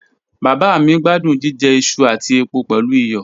Baba mi gbadun jijẹ iṣu ati epo pẹlu iyọ